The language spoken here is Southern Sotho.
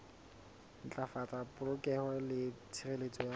ntlafatsa polokeho le tshireletso ya